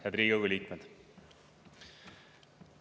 Head Riigikogu liikmed!